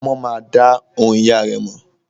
Ọmọ má a dá ohùn ìyá rẹ̀ mọ̀.